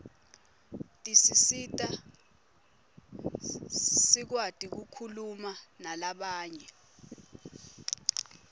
tisisita sikwati kukhuma nalabanye